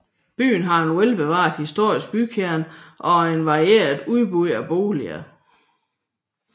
Byen har en velbevaret historisk bykerne og et varieret udbud af boliger